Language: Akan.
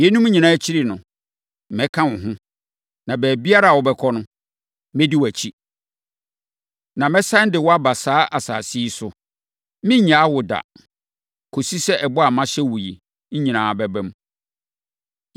Yeinom nyinaa akyiri no, mɛka wo ho, na baabiara a wobɛkɔ no, mɛdi wʼakyi, na mɛsane de wo aba saa asase yi so. Merennyaa wo da, kɔsi sɛ ɛbɔ a mahyɛ wo yi nyinaa bɛba mu.”